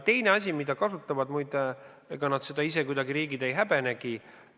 Need riigid ise seda muide kuidagi ei häbenegi.